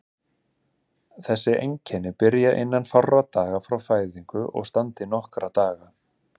Þessi einkenni byrja innan fárra daga frá fæðingu og standa í nokkra daga.